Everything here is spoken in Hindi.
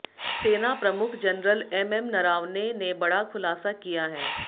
सेना प्रमुख जनरल एमएम नरावने ने बड़ा खुलासा किया है